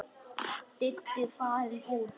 Diddi farinn út.